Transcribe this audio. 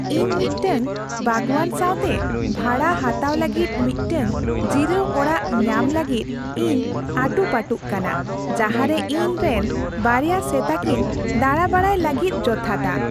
ᱤᱧ ᱢᱤᱫᱴᱟᱝ ᱵᱟᱜᱽᱣᱟᱱ ᱥᱟᱶᱛᱮ ᱵᱷᱟᱲᱟ ᱦᱟᱛᱟᱣ ᱞᱟᱹᱜᱤᱫ ᱢᱤᱫᱴᱟᱝ ᱡᱤᱨᱟᱹᱣ ᱚᱲᱟᱜ ᱧᱟᱢ ᱞᱟᱹᱜᱤᱫ ᱤᱧ ᱟᱹᱴᱩᱯᱟᱹᱴᱩᱜ ᱠᱟᱱᱟ, ᱡᱟᱦᱟᱸᱨᱮ ᱤᱧ ᱨᱮᱱ ᱵᱟᱨᱭᱟ ᱥᱮᱛᱟ ᱠᱤᱱ ᱫᱟᱬᱟ ᱵᱟᱲᱟᱭ ᱞᱟᱹᱜᱤᱫ ᱡᱚᱛᱷᱟᱛᱼᱟ ᱾